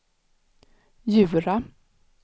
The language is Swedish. Djura